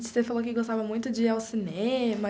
E você falou que gostava muito de ir ao cinema.